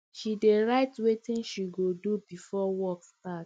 she dey write wetin she go do before work start